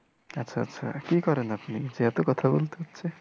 আচ্ছা আচ্ছা কি করেন আপনি যে এতো কথা বলতে হচ্ছে।